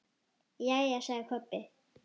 Jæja, sagði Kobbi.